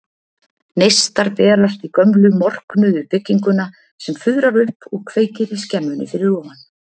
Neistar berast í gömlu, morknuðu bryggjuna sem fuðrar upp og kveikir í skemmunni fyrir ofan.